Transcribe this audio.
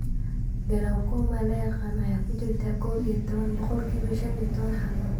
glaucoma la yaqaan ayaa ku jirtay kow iyo toban (boqolkiba shan iyo toban) xaaladood.